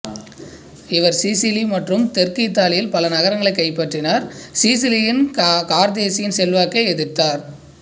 இவர் சிசிலி மற்றும் தெற்கு இத்தாலியில் பல நகரங்களை கைப்பற்றினார் சிசிலியில் கார்தேசின் செல்வாக்கை எதிர்த்தார்